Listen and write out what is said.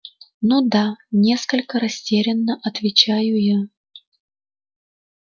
ну да несколько растерянно отвечаю я